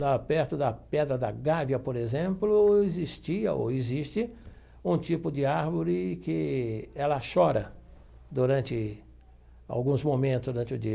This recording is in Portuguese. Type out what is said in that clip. lá perto da Pedra da Gávea, por exemplo, existia ou existe um tipo de árvore que ela chora durante alguns momentos durante o dia.